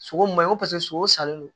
Sogo ma ɲi ko sogo salen don